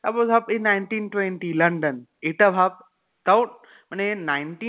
তারপরে ধর এই nineteen twenty london এটা ভাব তাও মানে nineteen